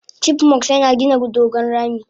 chipmunks yina gina dogon rami?